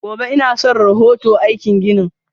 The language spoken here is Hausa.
Gobe inason rahoto aikin ginin.